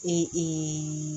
Ee